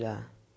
Já.